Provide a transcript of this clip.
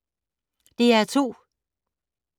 DR2